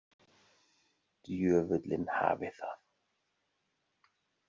Djöfullinn hafi það.